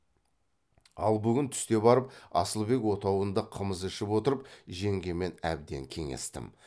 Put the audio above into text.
ал бүгін түсте барып асылбек отауында қымыз ішіп отырып жеңгемен әбден кеңестім